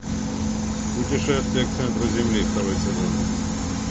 путешествие к центру земли второй сезон